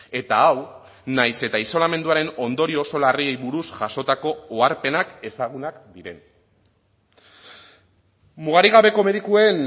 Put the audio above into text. eta hau nahiz eta isolamenduaren ondorio oso larriei buruz jasotako oharpenak ezagunak diren mugarik gabeko medikuen